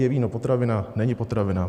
Je víno potravina, není potravina?